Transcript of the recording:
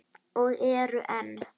Og eru enn.